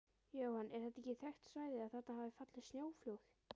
Jóhann: Er þetta þekkt svæði, að þarna hafa fallið snjóflóð?